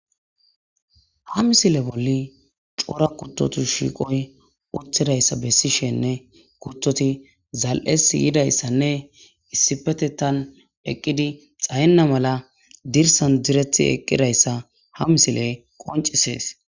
ha misile bolli cora kuttotu shiiqoy uthidayssa bessishenne kutoti zal7es yidayssanne issipetetan eqqidi xayenna mala dirsan direti eqqidayssa ha misile qoncisees